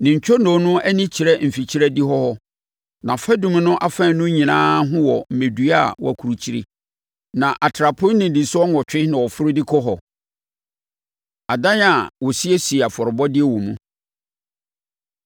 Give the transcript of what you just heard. Ne ntwonoo no ani kyerɛ mfikyire adihɔ hɔ, nʼafadum no afaanu nyinaa ho wɔ mmɛdua a wɔakurukyire, na atrapoe nnidisoɔ nwɔtwe na wɔforo de kɔ hɔ. Adan A Wɔsiesie Afɔrebɔdeɛ Wɔ Mu